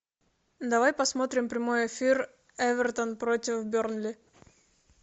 давай посмотрим прямой эфир эвертон против бернли